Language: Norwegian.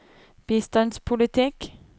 bistandspolitikk